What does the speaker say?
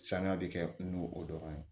Sanga bɛ kɛ n'o o dɔrɔn ye